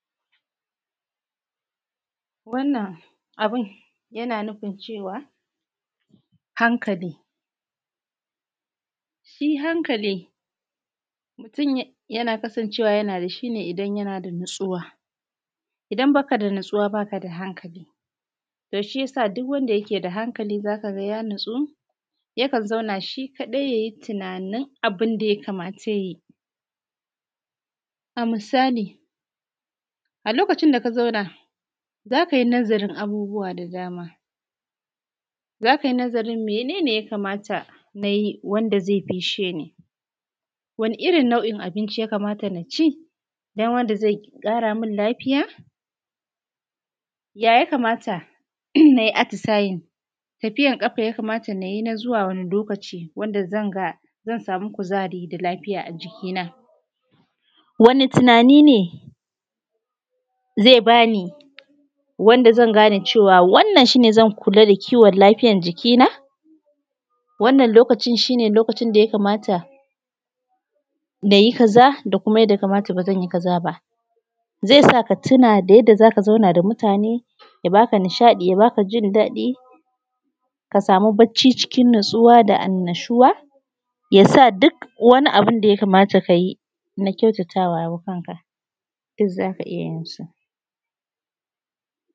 Wannan abin yana nufin cewa hankali. Shi hankali, mutum yana kasancewa ana da shi ne idan yana da natsuwa, idan ba ka da natsuwa baa ka da hankaali, to shiyasa duk wanda yake da hankali za ka ga ya natsu, yakan zauna shi kaɗai yayi tunanin duk abin da ya kamata ya yi. A misali, a lokacin da ka zauna, za ka yi nazarin abubuwa da dama, za ka yi nazarin mene ne ya kamata na yi wanda zai fisshe ni, wani irin nau’in abinci ya kamata naa ci don wanda zai ƙara min lafiya, ya ya kamaata na yi atisaye, tafijan ƙafa ya kamata na yi na zuwa wani lokaci da zan ga, zan samu kuzari da lafija a jiki na, wane tunani ne zai bani wanda zan gane cewa wannan shi ne zan kula da kiwon lafiyar jiki na. wannan lokacin shi ne lokacin da ya kamata na yi kaza da kuma wanda ya kamata ba zan yi kaza ba. Zai sa ka tuna da yadda za ka zauna da mutane ya ba ka nishaɗii ya ba ka jin daɗi ka saamu bacci cikin natsuwa da annushuwa, ya sa duk wani abu da ya kamata ka yi na kyautatawa kanka, duk za ka iya jin su.